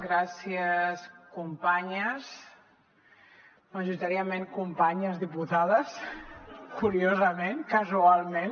gràcies companyes majoritàriament companyes diputades curiosament casualment